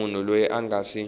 munhu loyi a nga si